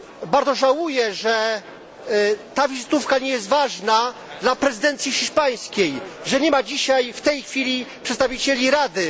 Bardzo żałuję, że ta wizytówka nie jest ważna dla prezydencji hiszpańskiej, że nie ma dzisiaj, w tej chwili, przedstawicieli Rady.